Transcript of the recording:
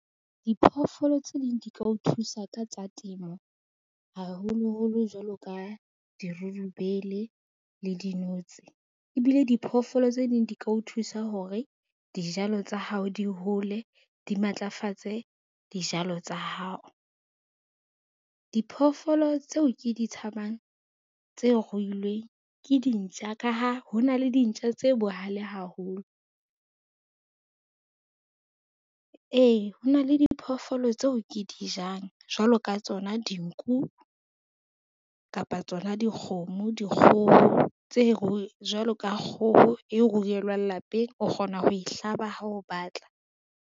Diphoofolo tse ding di ka o thusa ka tsa temo, haholoholo jwalo ka dirurubele le dinotsi, ebile diphoofolo tse ding di ka o thusa hore dijalo tsa hao di hole, di matlafatse dijalo tsa hao. Diphoofolo tseo ke di tshabang tse ruilweng ke dintja ka ha ho na le dintja tse bohale haholo. Ee, ho na le diphoofolo tseo ke di jang jwalo ka tsona dinku kapa tsona dikgomo, dikgoho jwalo ka kgoho e rurelwang lapeng o kgona ho e hlaba ha o batla.